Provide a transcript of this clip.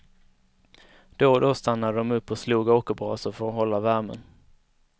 Då och då stannade de upp och slog åkarbrasa för att hålla värmen.